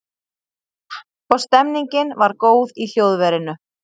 Og stemningin var góð í hljóðverinu